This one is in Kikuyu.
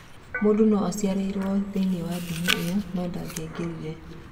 Mũndũ no-aciarĩirwo thĩiniĩ wa ndini ĩyo no-ndangĩaingĩrire.